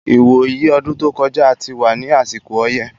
Ìwò yí ọdún tó kọjá, a ti wà ní àsìkò ọyẹ́